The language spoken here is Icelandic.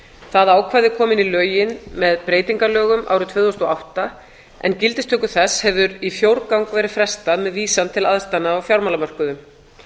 það ákvæði kom inn í lögin með breytingalögum árið tvö þúsund og átta en gildistöku þess hefur í fjórgang verið frestað með vísan til aðstæðna á fjármálamörkuðum